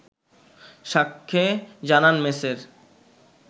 সাক্ষ্যে জানান মেছের